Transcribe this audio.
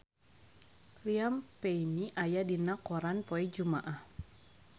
Liam Payne aya dina koran poe Jumaah